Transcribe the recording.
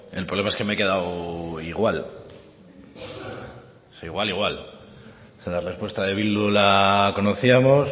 el problema es que me he quedado igual o sea igual igual si la respuesta de bildu la conocíamos